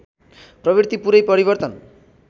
प्रवृत्ति पूरै परिवर्तन